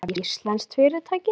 Það er íslenskt fyrirtæki.